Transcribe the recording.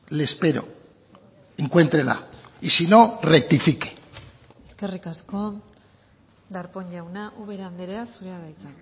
le espero encuéntrela y si no rectifique eskerrik asko darpón jauna ubera andrea zurea da hitza